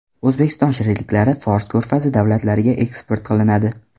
O‘zbekiston shirinliklari Fors ko‘rfazi davlatlariga eksport qilinadi.